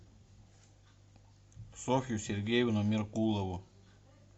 софью сергеевну меркулову